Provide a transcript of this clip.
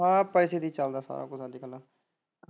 ਅ ਪੈਸੇ ਚ ਹੀ ਚੱਲਦਾ ਸਾਰਾ ਕੁੱਝ ਅੱਜ ਕੱਲ।